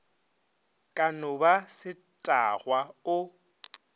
ka no ba setagwa o